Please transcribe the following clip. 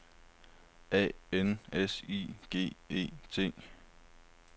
A N S I G E T